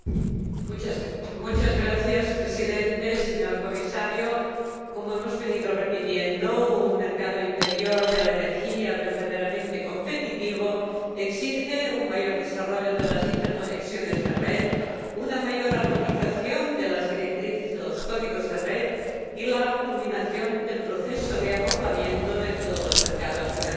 Señor Presidente, señor Comisario, como hemos venido repitiendo, un mercado interior de la energía verdaderamente competitivo exige un mayor desarrollo de las interconexiones de red, una mayor armonización de las directrices y los códigos de red y la culminación del proceso de acoplamiento de todos los mercados de energía.